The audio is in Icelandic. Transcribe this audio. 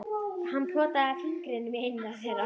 Og hann potaði fingrinum í eina þeirra.